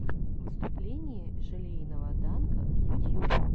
выступление желейного данка ютьюб